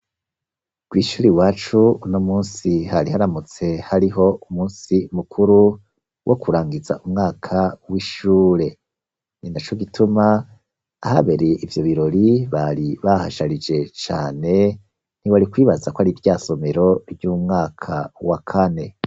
Kw'ishure iwacu, uno munsi, hari haramutse hariho umunsi mukuru, wo kurangiza umwaka w'ishure; ni na co gituma, ahabere ivyo birori, bari bahasharije cane, ntiwari kwibaza ko ari rya somero ry'umwaka wa kane.